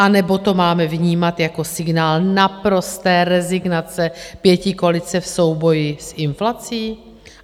Anebo to máme vnímat jako signál naprosté rezignace pětikoalice v souboji s inflací?